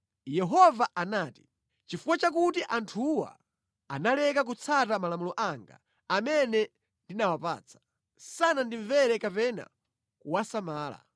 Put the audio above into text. Yehova anati, “Nʼchifukwa chakuti anthuwa analeka kutsata malamulo anga amene ndinawapatsa; sanandimvere kapena kuwasamala.